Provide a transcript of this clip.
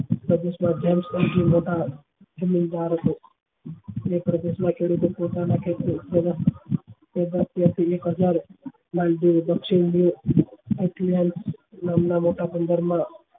એક હજાર તથા પંદર માં